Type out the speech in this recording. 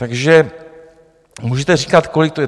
Takže můžete říkat, kolik to je.